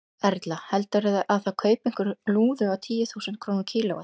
Erla: Heldurðu að það kaupi einhver lúðu á tíu þúsund krónur kílóið?